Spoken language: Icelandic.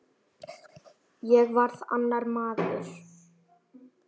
Ég varð annar maður.